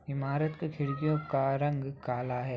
इमारत के खिड़कियों का रंग कला हैं।